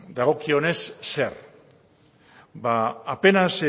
dagokionez zer ba apenas